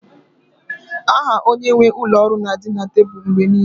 Aha onye nwe ụlọ ọrụ na-adị na tebụl mgbe niile